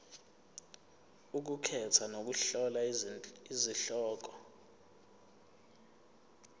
ukukhetha nokuhlola izihloko